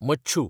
मच्छू